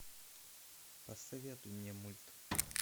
посоветуй мне мульт